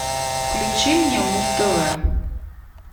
включи мне муз тв